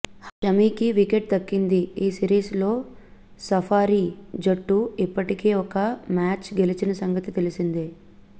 షమీకి wicket దక్కింది ఈ series లో సఫారీ జట్టు ఇప్పటికే ఒక మ్యాచ్ గెలిచిన సంగతి తెల్సిందే